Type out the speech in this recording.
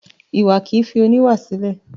Iwa kì í fi oníwà sílẹ̀.